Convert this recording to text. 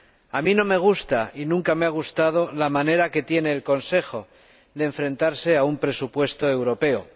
A mí no me gusta y nunca me ha gustado la manera que tiene el Consejo de enfrentarse a un presupuesto europeo.